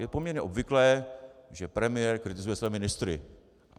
Je poměrně obvyklé, že premiér kritizuje své ministry.